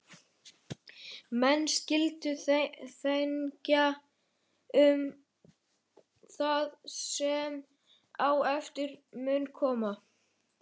Menn skyldu þenkja um það sem á eftir mun koma.